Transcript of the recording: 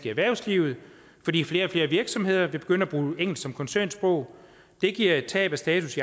erhvervslivet fordi flere og flere og virksomheder vil begynde at bruge engelsk som koncernsprog det giver et tab af status